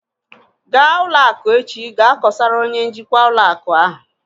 Ga ụlọ akụ echi gaa kosara onye njikwa ụlọ akụ ahu!